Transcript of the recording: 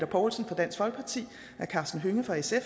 poulsen fra dansk folkeparti og herre karsten hønge fra sf